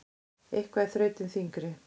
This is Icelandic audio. Eitthvað er þrautin þyngri